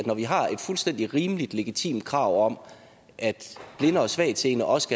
når vi har et fuldstændig rimeligt og legitimt krav om at blinde og svagtseende også